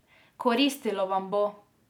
Koristilo vam bo.